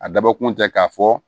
A dabɔkun tɛ k'a fɔ